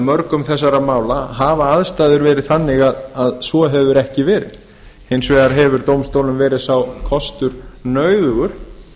mörgum þessara mála hafa aðstæður verið þannig að svo hefur ekki verið hins vegar hefur dómstólum verið sá kostur nauðugur